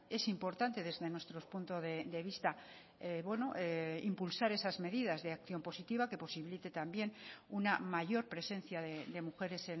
es importante desde nuestro punto de vista impulsar esas medidas de acción positiva que posibilite también una mayor presencia de mujeres